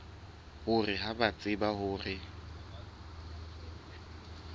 hore ha ba tsebe hore